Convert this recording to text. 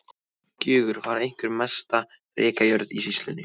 Gjögur var einhver mesta rekajörð í sýslunni.